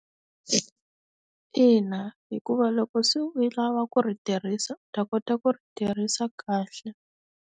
Ina hikuva loko se u lava ku ri tirhisa u ta kota ku ri tirhisa kahle.